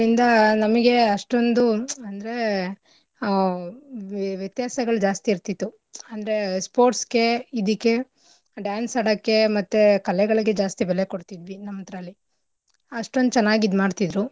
ನಮಿಗೆ ಅಷ್ಟೊಂದು ಅಂದ್ರೆ ಆಹ್ ವ್ಯ~ ವ್ಯತ್ಯಾಸಗಳ್ ಜಾಸ್ತಿ ಇರ್ತಿತ್ತು ಅಂದ್ರೆ sports ಗೆ ಇದಿಕ್ಕೆ dance ಆಡಕ್ಕೆ ಮತ್ತೆ ಕಲೆಗಳಿಗೆ ಜಾಸ್ತಿ ಬೆಲೆ ಕೊಡ್ತಿದ್ವಿ ನಮ್ದ್ರಲ್ಲಿ ಅಷ್ಟೊಂದ್ ಚೆನ್ನಾಗ್ ಇದ್ಮಾಡ್ತಿದ್ರು.